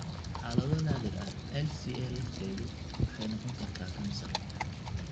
Xaalado naadir ah, LCA lafteedu waxay noqon kartaa kansar.